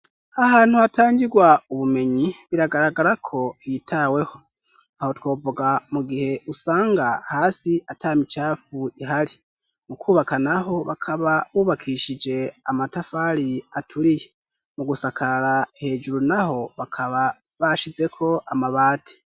Ahantu hatangirwa ubumenyi, biragaragara ko hitaweho. Aho twovuga mu gihe usanga hasi ata micafu ihari .Mu kwubaka naho bakaba bubakishije amatafari aturiye. Mu gusakara hejuru naho bakaba bashizeko amabati.